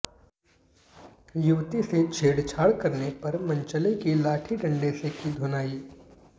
युवती से छेड़छाड़ करने पर मनचले की लाठी डंडे से की धुनाई